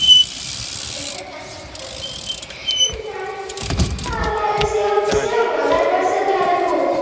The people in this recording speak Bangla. তাহলে সেও সেও মজা করছে তাহলে খুব,